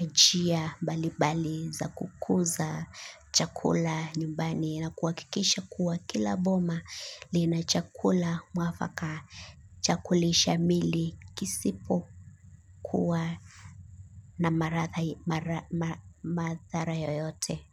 ya njia mbalimbali za kukuza chakula nyumbani na kuhakikisha kuwa kila boma linachakula mwafaka cha kulisha mili kisipo kuwa na mathara yoyote.